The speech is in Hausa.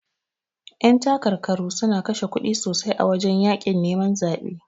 Yan takarkaru suna kashe kuɗi sosai a wajan yakin neman zabe.